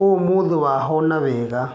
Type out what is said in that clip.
Ũmũthi wahona wega